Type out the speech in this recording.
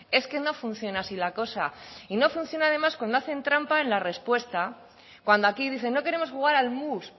es que no funciona así la cosa y no funciona además cuando hacen trampa en la respuesta cuando aquí dicen no queremos jugar al mus